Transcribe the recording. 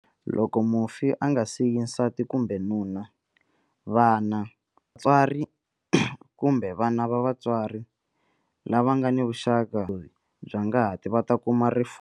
Loko mufi a nga siyi nsati kumbe nuna, vana, vatswari kumbe vana va vatswari, lava nga ni vuxaka bya ngati va ta kuma rifuwo.